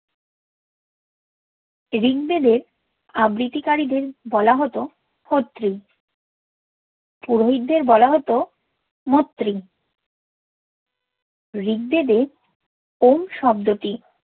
ঋগবেদের আবৃত্তিকারি দের বোলা হ্ত ক্ষত্রি পুরোহিত দের বোলা হ্ত মত্রি ঋগবেদের ওম শব্দতি